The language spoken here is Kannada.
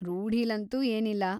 ರೂಢಿಲಂತೂ ಏನಿಲ್ಲ.